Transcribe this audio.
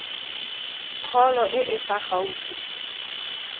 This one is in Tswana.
kgolo e e fa gaufi